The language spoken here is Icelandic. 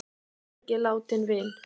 Syrgið látinn vin!